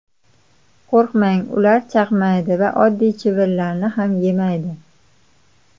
Qo‘rqmang, ular chaqmaydi va oddiy chivinlarni ham yemaydi.